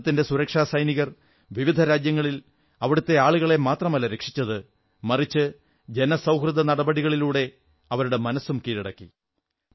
ഭാരതത്തിന്റെ സുരക്ഷാ സൈനികർ വിവിധ രാജ്യങ്ങളിൽ അവിടത്തെ ആളുകളെ മാത്രമല്ല രക്ഷിച്ചത് മറിച്ച് ജനസൌഹാർദ്ദ നടപടികളിലൂടെ അവരുടെ മനസ്സും കീഴടക്കി